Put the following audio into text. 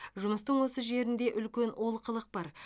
жұмыстың осы жерінде үлкен олқылық бар